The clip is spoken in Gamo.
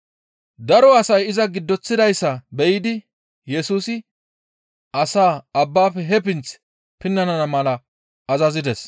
Daro asay iza giddoththidayssa biyidi Yesusi asaa abbafe he pinth pinnana mala azazides.